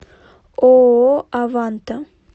ооо аванта